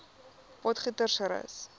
potgietersrus